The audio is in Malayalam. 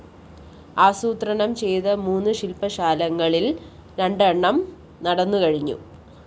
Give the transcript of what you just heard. ആസൂത്രണംചെയ്ത മൂന്ന് ശില്‍പ്പശാലകളില്‍ രണ്ടെണ്ണം നടന്നുകഴിഞ്ഞു